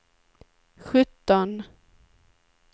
sjutton